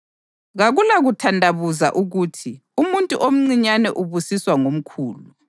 Kakulakuthandabuza ukuthi umuntu omncinyane ubusiswa ngomkhulu.